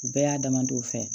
U bɛɛ y'a damadɔw fɛ